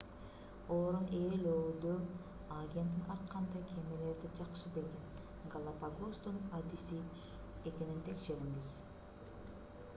орун ээлөөдө агенттин ар кандай кемелерди жакшы билген галапагостун адиси экенин текшериңиз